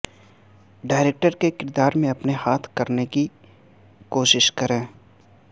director کے کردار میں اپنے ہاتھ کرنے کی کوشش کریں